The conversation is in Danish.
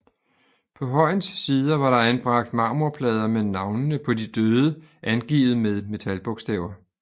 På højens sider var der anbragt marmorplader med navnene på de døde angivet med metalbogstaver